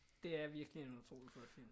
Det er virkelig en utrolig flot film